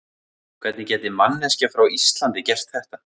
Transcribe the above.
Hvernig gæti manneskja frá Íslandi gert þetta?